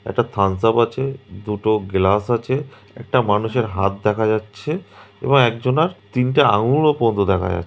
একটা থামস্যাপ আছে দুটো গেলাস আছে একটা মানুষের হাত দেখা যাচ্ছে এবং একজনার তিনটে আঙ্গুল ও দেখা যায়--